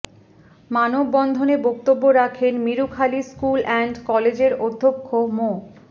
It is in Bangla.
মানববন্ধনে বক্তব্য রাখেন মিরুখালী স্কুল অ্যান্ড কলেজের অধ্যক্ষ মো